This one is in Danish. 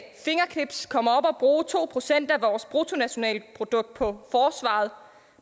bruge to procent af bruttonationalproduktet på forsvaret